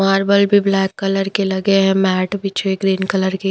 marble भी black colour के लगे हैं मैट बिछे हुए ग्रीन कलर के --